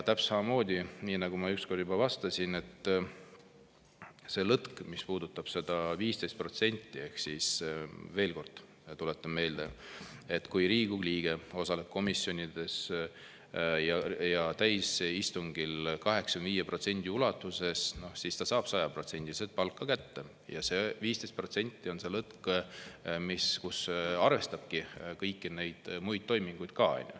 Täpselt samamoodi, nagu ma üks kord juba vastasin – veel kord tuletan meelde, et kui Riigikogu liige osaleb komisjonides ja täiskogu istungil 85% ulatuses, siis ta saab 100% palka kätte –, see 15% on see lõtk, mis arvestabki kõiki neid muid toiminguid ka.